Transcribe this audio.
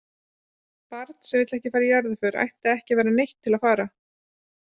Barn sem ekki vill fara í jarðarför ætti ekki að vera neytt til að fara.